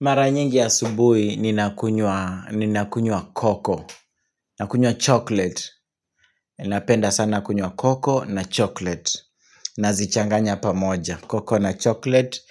Mara nyingi asubuhi ninakunywa Cocoa, nakunywa chocolate, napenda sana kunywa Cocoa na chocolate. Nazichanganya pamoja, cocoa na chocolate